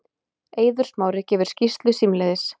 Eiður Smári gefur skýrslu símleiðis